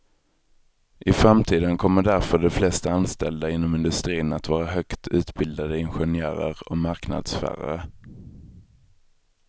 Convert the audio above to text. I framtiden kommer därför de flesta anställda inom industrin att vara högt utbildade ingenjörer och marknadsförare.